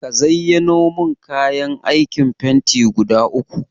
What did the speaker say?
Ka zayyano min kayan aikin fenti guda uku.